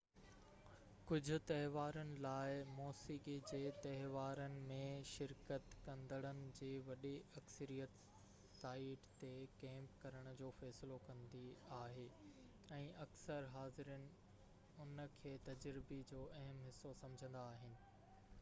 ڪجهه تهوارن لاءِ موسيقي جي تهوارن ۾ شرڪت ڪندڙن جي وڏي اڪثريت سائيٽ تي ڪيمپ ڪرڻ جو فيصلو ڪندي آهي ۽ اڪثر حاضرين ان کي تجربي جو اهم حصو سمجهندا آهن